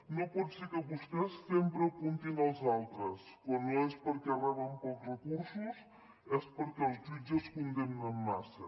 no pot ser que vostès sempre apuntin als altres quan no és perquè reben pocs recursos és perquè els jutges condemnen massa